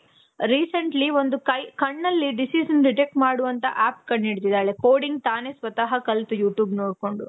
recently ಒಂದು ಕೈ ಕಣ್ಣಲ್ಲಿ disease ಅನ್ನ detect ಮಾಡುವಂತ app ಕಂಡು ಹಿಡ್ದಿದಾಳೆ. coding ತಾನೇ ಸ್ವತಹ ಕಲ್ತು you tube ನೋಡ್ಕೊಂಡು.